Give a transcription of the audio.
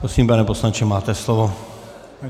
Prosím, pane poslanče, máte slovo.